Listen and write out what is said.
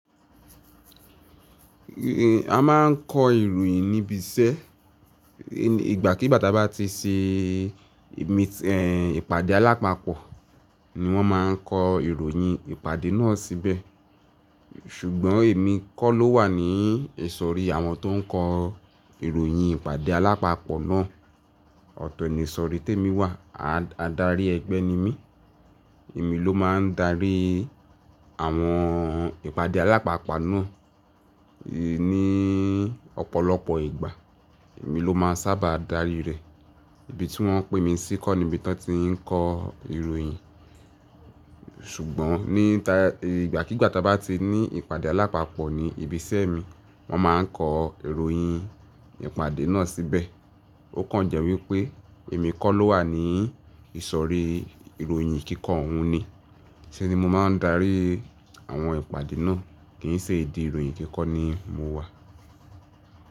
A máa ń kọ ìròyìn níbi iṣẹ́. Ìgbà kí bàtà bá ti ṣe ìpàdé alápapọ̀, ni wọ́n máa ń kọ ìròyìn ìpàdé náà síbẹ̀. Ṣùgbọ́n èmi kọ́ ló wà ní ìsọ̀rí àwọn tó ń kọ ìròyìn ìpàdé alápapọ̀ náà. Ọ̀tọ̀ ni ìsọ̀rí tí èmi wà. Adarí ẹgbẹ́ ni mí. Èmi ló máa ń darí àwọn ìpàdé alápapọ̀ náà. Ni ọ̀pọ̀lọpọ̀ ìgbà, èmi ló máa ń sábà darí rẹ̀. Ibi tí wọ́n pín mi sí kọ́ ni ibi tí wọ́n ti ń kọ ìròyìn. Ṣùgbọ́n ní ta-- ìgbàkígbà táa bá ti ní ìpàdé alápapọ̀ ní ibi iṣẹ́ mi, wọ́n máa ń kọ ìròyìn ìpàdé náà síbẹ̀. Ó kàn jẹ́ wípé èmi kọ́ ló wà ní ìsọ̀rí ìròyìn kíkọ́ ọ̀hún ni. Ṣé ni mo máa ń darí àwọn ìpàdé náà. Kì í ṣe ìdí ìròyìn kíkọ́ ni mo wà.